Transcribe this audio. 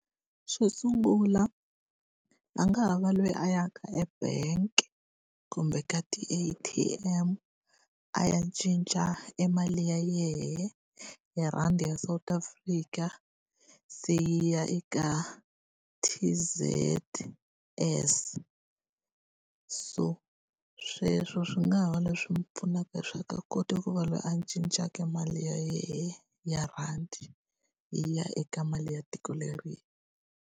Xo sungula a nga ha va loyi a ya ka e-bank kumbe ka ti-A_T_M a ya cinca e mali ya yena, hi rhandi ya South Africa. Se yi ya eka T_Z_S. So sweswo swi nga ha va leswi n'wi pfunaka swa ku a kota ku va loyi a cincaka mali ya yena, ya rhandi yi ya eka mali ya tiko leriya.